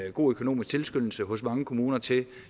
en god økonomisk tilskyndelse hos mange kommuner til